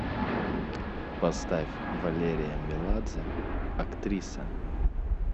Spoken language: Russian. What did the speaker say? поставь валерия меладзе актриса